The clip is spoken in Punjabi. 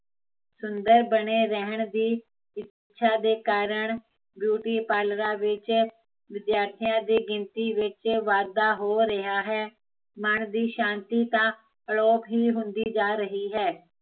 ਸੁੰਦਰ ਬਣੇ ਰਹਿਣ ਦੀ ਇੱਛਾ ਦੇ ਕਾਰਣ ਪਰਲਰਾਂ ਵਿੱਚ, ਵਿਦਿਆਰਥੀਆ ਦੀ ਗਿਣਤੀ ਵਿੱਚ ਵਾਧਾ ਹੋ ਰਿਹਾ ਹੈ ਮਨ ਦੀ ਸ਼ਾਂਤੀ ਤਾਂ, ਅਲੋਪ ਹੀਂ ਹੁੰਦੀ ਜਾਂ ਰਹੀਂ ਹੈ